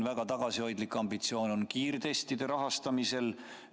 Väga tagasihoidlik on näiteks kiirtestide rahastamise ambitsioon.